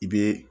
I bɛ